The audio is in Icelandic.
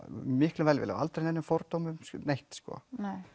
miklum velvilja aldrei neinum fordómum neitt sko